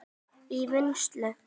í vinnslu